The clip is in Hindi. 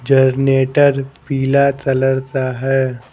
जनरेटर पीला कलर का है ।